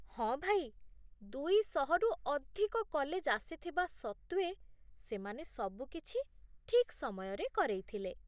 ହଁ ଭାଇ, ଦୁଇ ଶହରୁ ଅଧିକ କଲେଜ୍ ଆସିଥିବା ସତ୍ତ୍ୱେ ସେମାନେ ସବୁ କିଛି ଠିକ୍ ସମୟରେ କରେଇଥିଲେ